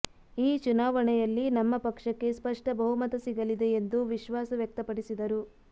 ಈ ಚುನಾವಣೆಯಲ್ಲಿ ನಮ್ಮ ಪಕ್ಷಕ್ಕೆ ಸ್ಪಷ್ಟ ಬಹುಮತ ಸಿಗಲಿದೆ ಎಂದು ವಿಶ್ವಾಸ ವ್ಯಕ್ತಪಡಿಸಿದರು